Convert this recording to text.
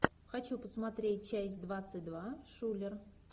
хочу посмотреть часть двадцать два шулер